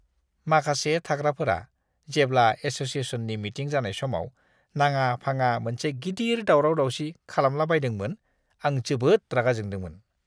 माखासे थाग्राफोरा जेब्ला एस'सिएशननि मिटिं जानाय समाव नाङा-फाङा मोनसे गिदिर दावराव-दावसि खालामलाबायदोंमोन आं जोबोद रागा जोंदोंमोन।